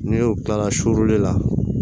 Ni y'o kilala surune la